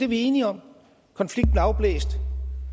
vi enige om konflikten er afblæst